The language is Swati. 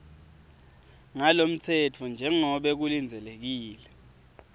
talomtsetfo njengobe kulindzelekile